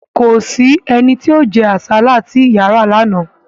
Kò sí ẹni tí ó jẹ́ àsálà tí ìyà ra lánàá